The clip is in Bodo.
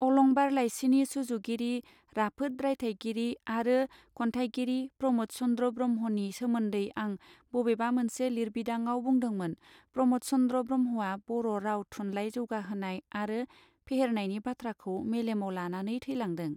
अलंबार लाइसिनि सुजुगिरि राफोद रायथाइगिरि आरो कोंथईगिरि प्रमद चंन्द्र ब्रह्मनि सोमोन्दै आं बबेबा मोनसे लिरबिदांआव बुंदोंमोन प्रमद चन्द्र ब्रहमआ बर राव थुनलाइ जौगाहोनाय आरो फेहेरनायनि बाथ्राखौ मेलेमआव लानानै थैलांदों.